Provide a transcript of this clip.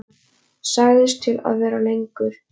Sagðist til í að vera lengur.